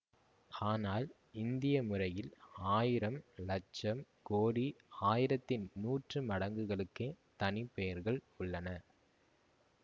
ஆனால் இந்திய முறையில் ஆயிரம் இலட்சம் கோடி ஆயிரத்தின் நூற்று மடங்குகளுக்கே தனிப்பெயர்கள் உள்ளன